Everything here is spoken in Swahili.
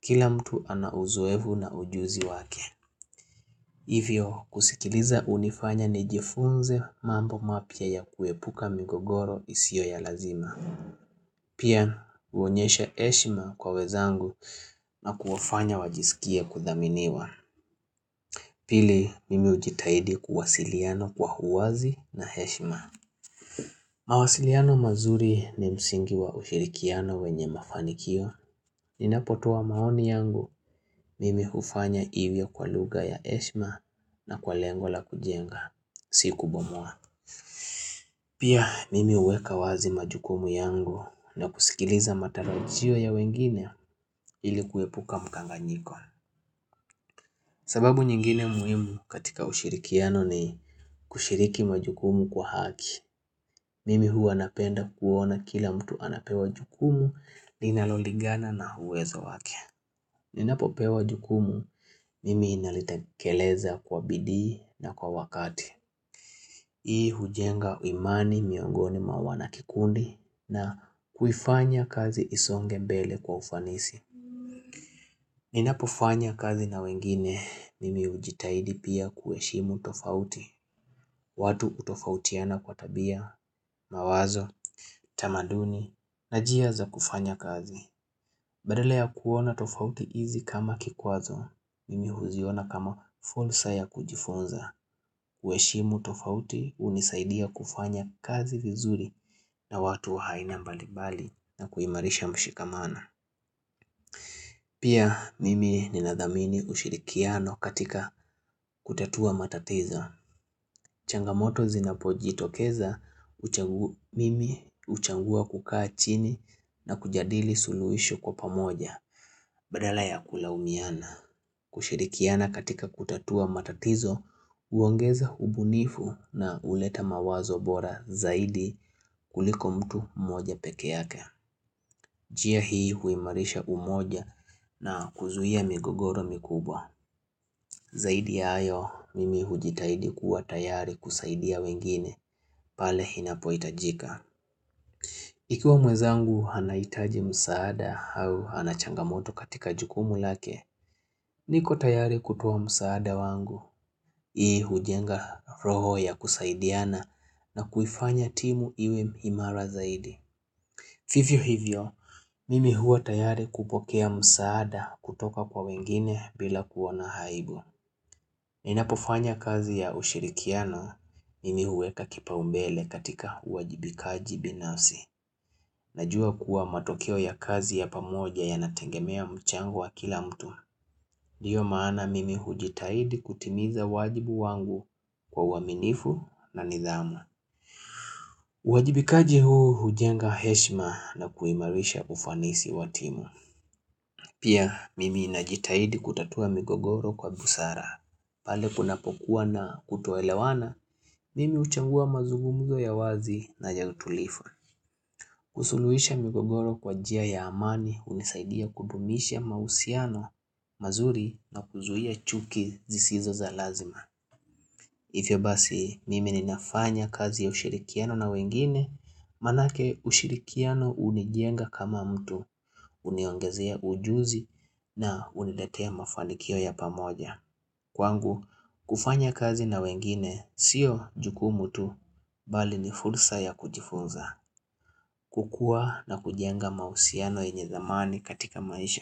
Kila mtu anauzoefu na ujuzi wake Hivyo kusikiliza unifanya nijifunze mambo mapya ya kuepuka migogoro isiyo ya lazima Pia huonyesha heshima kwa wenzangu na kuwafanya wajisikie kuthaminiwa Pili mimi ujitahidi kuwasiliana kwa huwazi na heshima. Mawasiliano mazuri ni msingi wa ushirikiano wenye mafanikio. Ninapotoa maoni yangu mimi hufanya hivyo kwa lugha ya heshima na kwa lengo la kujenga. Si kubomoa. Pia mimi huweka wazi majukumu yangu na kusikiliza matarajio ya wengine ilikuepuka mkanganyiko. Sababu nyingine muhimu katika ushirikiano ni kushiriki majukumu kwa haki. Mimi huwa napenda kuona kila mtu anapewa jukumu linalolingana na uwezo wake. Ninapo pewa jukumu, mimi nalitekeleza kwa bidii na kwa wakati. Hii hujenga imani miongoni mwa wana kikundi na kuifanya kazi isonge mbele kwa ufanisi. Ninapo fanya kazi na wengine, mimi ujitahidi pia kuheshimu tofauti watu hutofautiana kwa tabia, mawazo, tamaduni, na njia za kufanya kazi Badala ya kuona tofauti hizi kama kikwazo, mimi huziona kama fursa ya kujifunza kuheshimu tofauti unisaidia kufanya kazi vizuri na watu aina mbalibali na kuimarisha mshikamano Pia mimi ninathamini ushirikiano katika kutatua matatizo. Changamoto zinapojitokeza, mimi uchangua kukaa chini na kujadili suluhisho kwa pamoja. Badala ya kulaumiana. Kushirikiana katika kutatua matatizo, uongeza ubunifu na uleta mawazo bora zaidi kuliko mtu mmoja peke yake. Njia hii huimarisha umoja na kuzuia migogoro mikubwa. Zaidi ya hayo, mimi hujitahidi kuwa tayari kusaidia wengine, pale inapoitajika. Ikiwa mwezangu anahitaji msaada au anachangamoto katika jukumu lake, niko tayari kutoa msaada wangu. Hii hujenga roho ya kusaidiana na kuifanya timu iwe imara zaidi. Hivyo hivyo, mimi huwa tayari kupokea msaada kutoka kwa wengine bila kuona aibu. Ninapofanya kazi ya ushirikiano, mimi huweka kipa umbele katika uwajibikaji binafsi. Najua kuwa matokeo ya kazi ya pamoja ya nategemea mchango wa kila mtu. Ndiyo maana mimi hujitahidi kutimiza wajibu wangu kwa uaminifu na nidhamu. Uwajibikaji huu hujenga heshima na kuimarisha ufanisi watimu. Pia mimi najitahidi kutatua migogoro kwa busara. Pale kunapokuwa na kutoelewana, mimi uchagua mazugumzo ya wazi na ya utulivu. Kusuluhisha migogoro kwa njia ya amani unisaidia kudumisha mahusiano, mazuri na kuzuia chuki zisizo za lazima. Ivyobasi mimi ninafanya kazi ya ushirikiano na wengine maanake ushirikiano hunijenga kama mtu uniongezea ujuzi na uniletea mafanikio ya pamoja. Kwangu kufanya kazi na wengine sio jukumu tu bali ni fursa ya kujifunza kukua na kujenga mahusiano yenye thamani katika maisha.